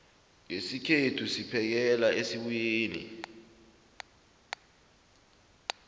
ngesikhethu siphekela esibuyeni